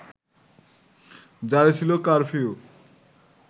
জারি ছিল কারফিউ